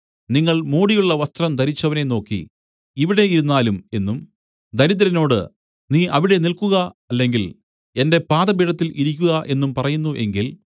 നിങ്ങൾ മോടിയുള്ള വസ്ത്രം ധരിച്ചവനെ നോക്കി ഇവിടെ ഇരുന്നാലും എന്നും ദരിദ്രനോട് നീ അവിടെ നിൽക്കുക അല്ലെങ്കിൽ എന്റെ പാദപീഠത്തിൽ ഇരിക്കുക എന്നും പറയുന്നു എങ്കിൽ